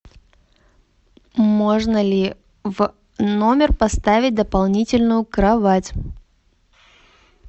можно ли в номер поставить дополнительную кровать